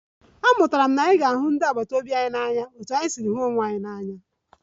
Amụtara m na anyị kwesịrị ịhụ ndị agbata obi anyị n'anya otú anyị si hụ onwe anyị n'anya